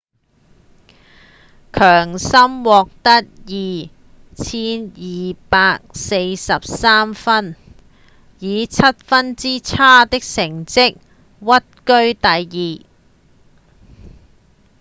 強森獲得 2,243 分以七分之差的成績屈居第二